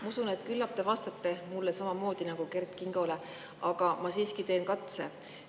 Ma usun, et küllap te vastate mulle samamoodi nagu Kert Kingole, aga ma siiski teen katse.